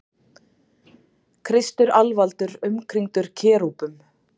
Kristur alvaldur umkringdur kerúbum.